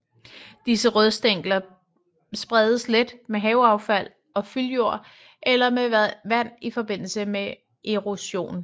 Disse rodstængler spredes let med haveaffald og fyldjord eller med vand i forbindelse med erosion